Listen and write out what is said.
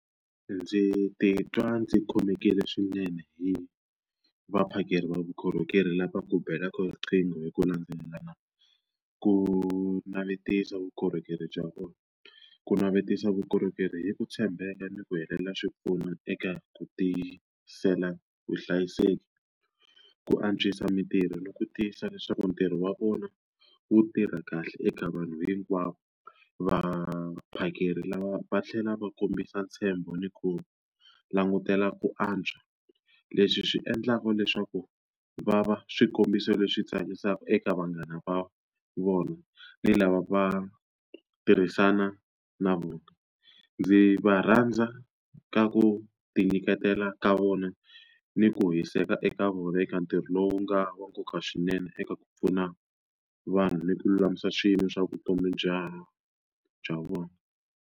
Ndzi titwa ndzi khomekile swinene hi vaphakeri va vukorhokeri lava ku belaka riqingho hi ku landzelelana ku navetisa vukorhokeri bya vona. Ku navetisa vukorhokeri hi ku tshembeka ni ku helela xipfuno eka ku tiyisela vuhlayiseki, ku antswisa mintirho ni ku tiyisa leswaku ntirho wa vona wu tirha kahle eka vanhu hinkwavo. Vaphakeri lava va tlhela va kombisa ntshembo ni ku langutela ku antswa. Leswi swi endlaka leswaku va va swikombiso leswi tsakisaka eka vanghana va vona ni lava va tirhisana na vona. Ndzi va rhandza ka ku tinyiketela ka vona ni ku hiseka eka ntirho lowu nga wa nkoka swinene eka ku pfuna vanhu ni ku lulamisa swilo swa vutomi bya bya vona.